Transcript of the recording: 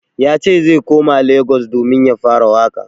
Yace zai koma Lagos domin ya fara waƙa.